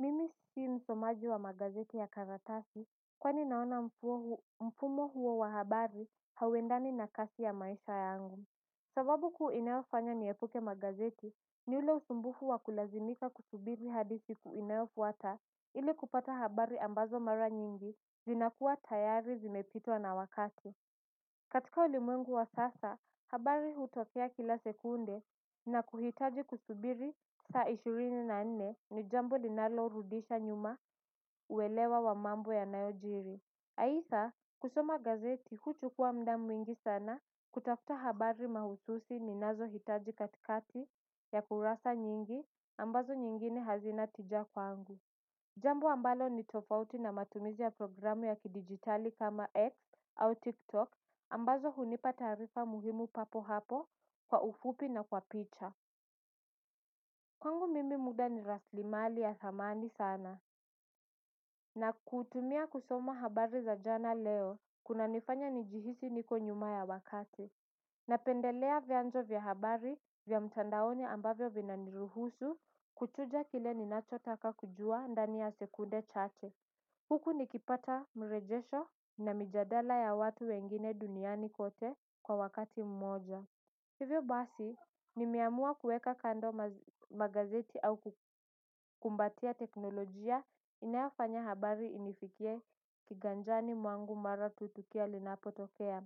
Mimi si msomaji wa magazeti ya karatasi kwani naona mfumo huo wa habari hauendani na kasi ya maisha yangu. Sababu kuu inayofanya niepuke magazeti ni ule usumbufu wa kulazimika kusubiri hadi siku inayofuata ili kupata habari ambazo mara nyingi zinakuwa tayari zimepitwa na wakati. Katika ulimwengu wa sasa, habari hutokea kila sekunde na kuhitaji kusubiri saa ishirini na nne ni jambo linalorudisha nyuma uelewa wa mambo yanayojiri. Aidha, kusoma gazeti huchukua muda mwingi sana kutafuta habari mahususi ninazo hitaji katikati ya kurasa nyingi ambazo nyingine hazina tija kwangu. Jambo ambalo ni tofauti na matumizi ya programu ya kidigitali kama X au TikTok ambazo hunipa taarifa muhimu papo hapo kwa ufupi na kwa picha. Kwangu mimi muda ni rasilimali ya thamani sana. Na kuutumia kusoma habari za jana leo, kunanifanya nijihisi niko nyuma ya wakati. Napendelea vyanzo vya habari vya mtandaoni ambavyo vinaniruhusu kuchuja kile ninachotaka kujua ndani ya sekunde chache. Huku nikipata mrejesho na mijadala ya watu wengine duniani kote kwa wakati mmoja. Hivyo basi nimeamua kuweka kando magazeti au kukumbatia teknolojia inayofanya habari inifikie kiganjani mwangu mara tu tukio linapotokea.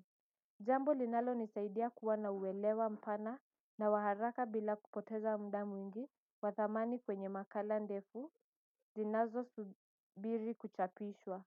Jambo linalonisaidia kuwa na uelewa mpana na wa haraka bila kupoteza muda mwingi wa thamani kwenye makala ndefu zinazosubiri kuchapishwa.